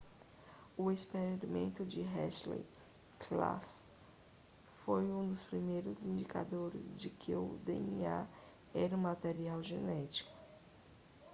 o experimento de hershey e chase foi um dos principais indicadores de que o dna era um material genético